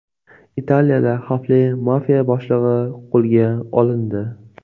Italiyada xavfli mafiya boshlig‘i qo‘lga olindi.